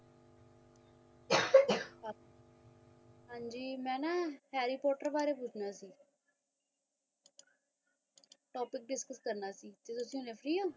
ਹਾਂ ਜੀ ਮੈਂ ਨਾ harry potter ਬਾਰੇ ਪੁੱਛਣਾ ਸੀ topic discuss ਕਰਨਾ ਸੀ ਤੇ ਤੁਸੀਂ ਹੁਣੇ free ਹੋ